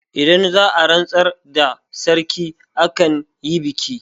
Idan za'a rantsar da sarki akan yi biki